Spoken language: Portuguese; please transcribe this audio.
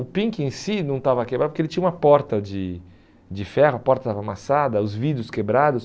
O Pink em si não estava quebrado porque ele tinha uma porta de de ferro, a porta estava amassada, os vidros quebrados.